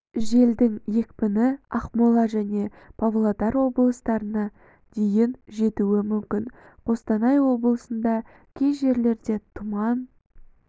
желдің екпіні ақмола және павлодар облыстарында дейін жетуі мүмкін қостанай облысында кей жерлерде тұман